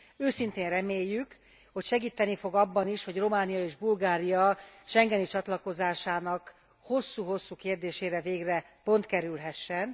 Őszintén reméljük, hogy segíteni fog abban is, hogy Románia és Bulgária schengeni csatlakozásának hosszú hosszú kérdésére végre pont kerülhessen.